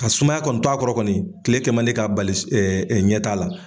Ka sumaya kɔni t'a kɔrɔ kɔni, kile kɛmandi ka bali ɲɛ t'a la.